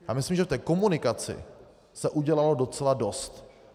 Já myslím, že v té komunikaci se udělalo docela dost.